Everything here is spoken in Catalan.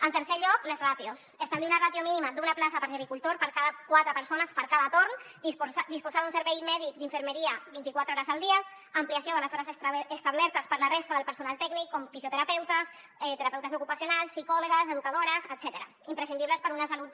en tercer lloc les ràtios establir una ràtio mínima d’una plaça de gericultor per cada quatre persones per cada torn disposar d’un servei mèdic d’infermeria vint iquatre hores al dia ampliació de les hores extra establertes per la resta del personal tècnic com fisioterapeutes terapeutes ocupacionals psicòlogues educadores etcètera imprescindibles per una salut